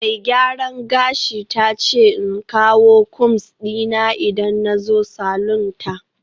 Mai gyaran gashi ta ce in kawo combs dina in na zo salon ta